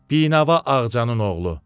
Binava Ağcanın oğlu.